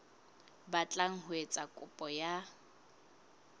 batlang ho etsa kopo ya